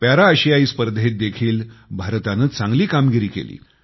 para आशियाई स्पर्धेत देखील भारताने चांगली कामगिरी केली